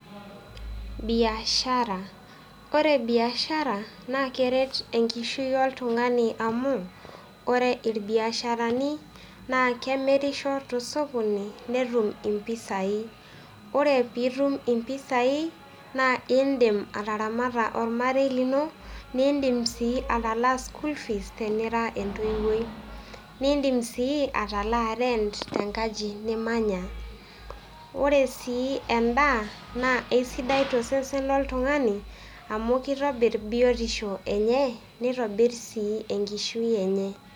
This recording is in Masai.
Biashara, ore biashara naa keret enkishui oltung'ani amu ore irbiasharani naa kemirisho tosokono netum impisai ore piitum impisai naa iindim ataramata ormarei lino niindim sii atalaa school fees tenira entoiwuoi, niindim sii atalaa rent tenkaji nimanya. Ore sii endaa naa esidai tosesen loltung'ani amu kitobirr biotisho enye nitobirr sii enkishui enye.